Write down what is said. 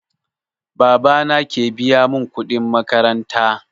Baba na ke biya mun kuɗin makaranta